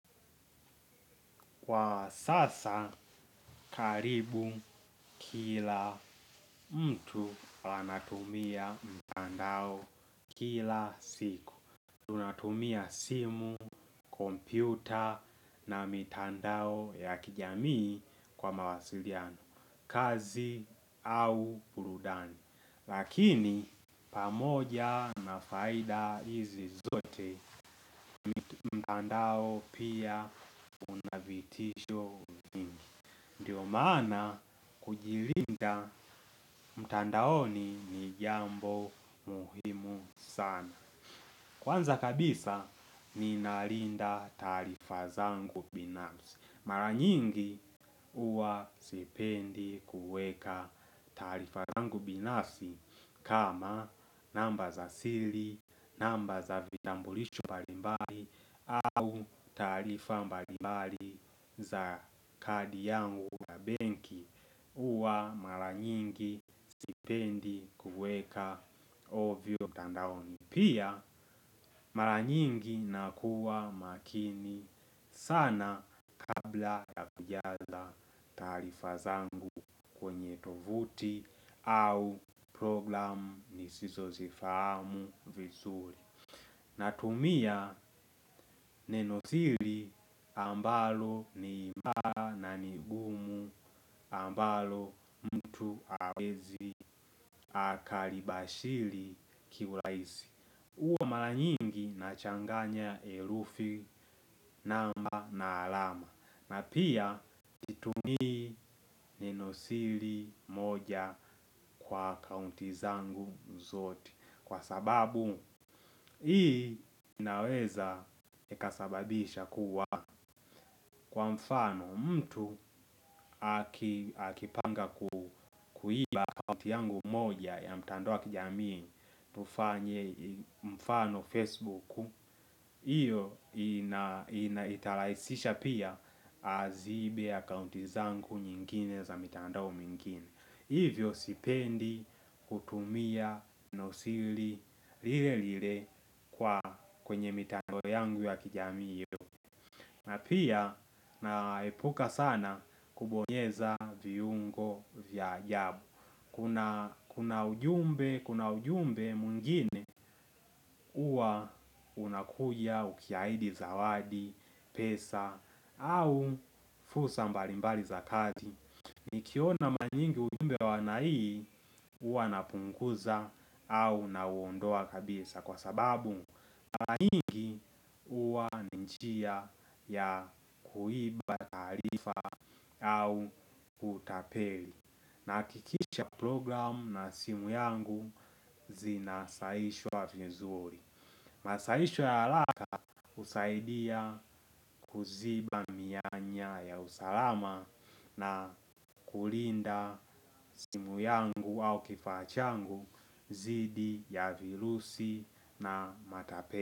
Kwa sasa, karibu kila mtu ana tumia mtandao kila siku. Tunatumia simu, kompyuta na mitandao ya kijamii kwa mawasiliano, kazi au burudani. Lakini, pamoja na faida hizi zote, mtandao pia unavitisho vingi. Ndio maana kujilinda mtandaoni ni jambo muhimu sana. Kwanza kabisa ninalinda taarifa zangu binafsi. Mara nyingi huwa sipendi kuweka taarifa zangu binafsi. Kama namba za sili, namba za vitambulisho mbalimbali au taarifa mbalimbali za kadi yangu ya benki huwa mara nyingi sipendi kuweka ovyo mtandaoni pia mara nyingi nakuwa makini sana kabla ya kujaza taarifa zangu vuti au program nisizo zifahamu vizuri. Natumia neno sili ambalo ni imara na ni gumu ambalo mtu hawezi akalibashili kiulahisi huwa mara nyingi na changanya elufi namba na alama. Na pia situmii neno sili moja kwa kaunti zangu zote. Kwa sababu hii inaweza ikasababisha kuwa kwa mfano mtu akipanga kuiba kaunti yangu moja ya mtandao wa kijamii. Tufanye mfano Facebooku hiyo ina inaitalahisisha pia aziibe akaunti zangu nyingine za mitandao mingine. Hivyo sipendi, kutumia, nenosili, lile lile kwa kwenye mitandao yangu ya kijamii yo. Na pia na epuka sana kubonyeza viungo vya ajabu kuna ujumbe. Kuna ujumbe mwingine huwa unakuja ukiahidi zawadi, pesa, au fursa mbalimbali za kati. Nikiona manyingi ujumbe wa aina hii huwa napunguza au na uondoa kabisa kwa sababu ma nyingi huwa ni njia ya kuiba taarifa au utapeli. Na hakikisha program na simu yangu zinasaishwa vizuri. Masaisho ya alaka husaidia kuziba mianya ya usalama. Na kulinda simu yangu au kifaa changu zidi ya virusi na matape.